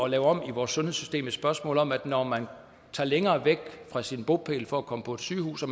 lave om i vores sundhedssystem jo et spørgsmål om at når man tager længere væk fra sin bopæl for at komme på sygehus og